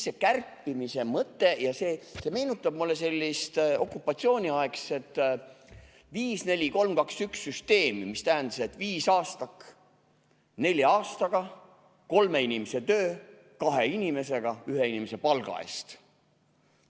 See kärpimise mõte meenutab mulle sellist okupatsiooniaegset viis-neli-kolm-kaks-üks-süsteemi, mis tähendas, et viisaastak nelja aastaga, kolme inimese töö kahe inimesega ühe inimese palga eest.